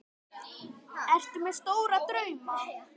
Ertu með stóra drauma?